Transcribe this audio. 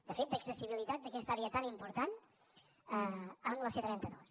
de fet d’accessibilitat d’aquesta àrea tan important amb la c trenta dos